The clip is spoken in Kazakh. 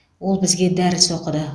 ол бізге дәріс оқыды